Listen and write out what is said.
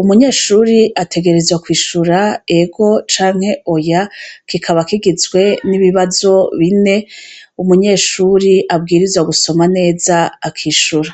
umunyeshuri ategerezwa kwishura ego canke oya kikaba kigizwe n'ibibazo bine umunyeshuri abwirizwa gusoma neza akishura.